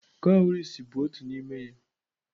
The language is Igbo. Cowries bụ otu n'ime ya.